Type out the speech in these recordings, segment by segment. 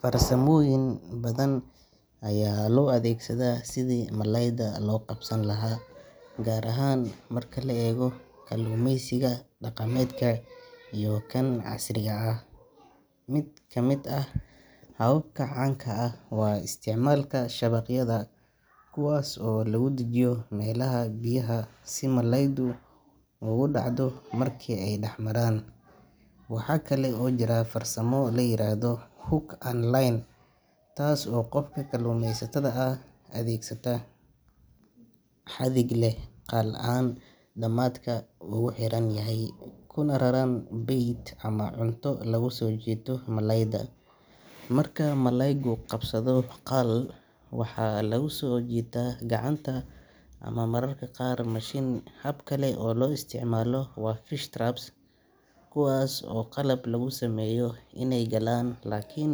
Farsamooyin badan ayaa loo adeegsadaa sidii malayda loo qabsan lahaa, gaar ahaan marka la eego kalluumeysiga dhaqameedka iyo kan casriga ah. Mid ka mid ah hababka caanka ah waa isticmaalka shabaqyada, kuwaas oo lagu dejiyo meelaha biyaha si malaydu ugu dhacdo marka ay dhex maraan. Waxa kale oo jira farsamo la yiraahdo hook and line, taas oo qofka kalluumeysatada ah uu adeegsado xadhig leh qal aan dhamaadka uga xiran yahay, kuna raran bait ama cunto lagu soo jiito malayda. Marka malaygu qabsado qal, waxaa lagu soo jiitaa gacanta ama mararka qaar mashiin. Hab kale oo loo isticmaalo waa fish traps, kuwaas oo ah qalab lagu sameeyo bir ama bambo oo malayda u oggolaanaya inay galaan laakiin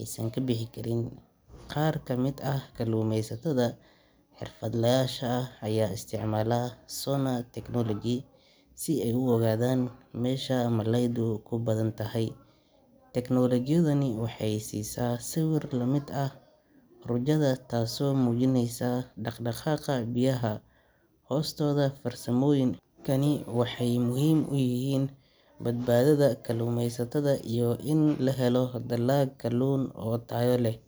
aysan ka bixi karin. Qaar ka mid ah kalluumeysatada xirfadlayaasha ah ayaa isticmaala sonar technology si ay u ogaadaan meesha malaydu ku badan tahay. Tiknoolajiyadani waxay siisa sawir la mid ah raajada taasoo muujinaysa dhaqdhaqaaqa biyaha hoostooda. Farsamooyinkani waxay muhiim u yihiin badbaadada kalluumeysatada iyo in la helo dalag kalluun oo tayo leh.